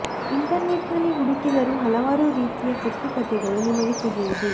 internet ನಲ್ಲಿ ಹುಡುಕಿದರೂ ಹಲವಾರು ರೀತಿಯ ಕಟ್ಟು ಕಥೆಗಳು ನಿಮಗೆ ಸಿಗುವುದು